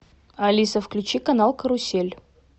алиса включи канал карусель